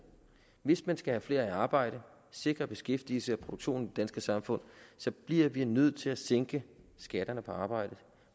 hvis man skal have flere i arbejde og sikre beskæftigelse og produktion danske samfund bliver vi nødt til at sænke skatterne på arbejde